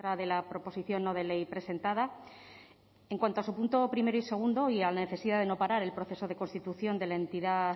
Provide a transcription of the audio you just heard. de la proposición no de ley presentada en cuanto a su punto primero y segundo y a la necesidad de no parar el proceso de constitución de la entidad